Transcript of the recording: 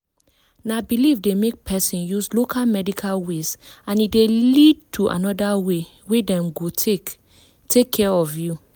na belief dey make person use local medical ways and e dey lead to another way wey dem go take take care of you.